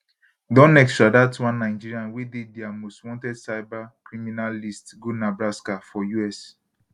don extradite one nigerian wey dey dia most wanted cyber criminal list go nebraska for us